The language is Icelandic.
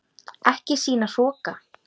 Ekki sýna hroka!